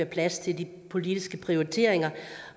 plads til de politiske prioriteringer